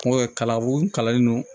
Nko kalabo kalanlen don